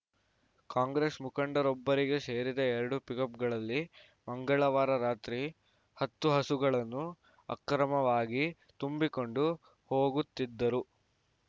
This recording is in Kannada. ಕಾಂಗ್ರೆಸ್‌ ಮುಖಂಡರೊಬ್ಬರಿಗೆ ಸೇರಿದ ಎರಡು ಪಿಕಪ್‌ಗಳಲ್ಲಿ ಮಂಗಳವಾರ ರಾತ್ರಿ ಹತ್ತು ಹಸುಗಳನ್ನು ಅಕ್ರಮವಾಗಿ ತುಂಬಿಕೊಂಡು ಹೋಗುತ್ತಿದ್ದರು